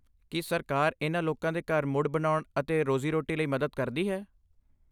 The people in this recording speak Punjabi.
ਕੀ ਸਰਕਾਰ ਇਨ੍ਹਾਂ ਲੋਕਾਂ ਦੇ ਘਰ ਮੁੜ ਬਣਾਉਣ ਅਤੇ ਰੋਜ਼ੀ ਰੋਟੀ ਲਈ ਮਦਦ ਕਰਦੀ ਹੈ?